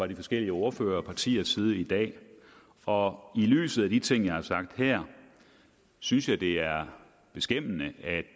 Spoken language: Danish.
de forskellige ordførere og partiers side i dag og i lyset af de ting jeg har sagt her synes jeg det er beskæmmende at